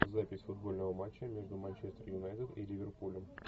запись футбольного матча между манчестер юнайтед и ливерпулем